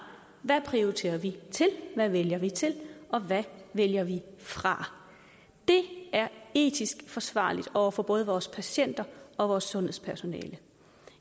hvad prioriterer vi til hvad vælger vi til og hvad vælger vi fra det er etisk forsvarligt over for både vores patienter og vores sundhedspersonale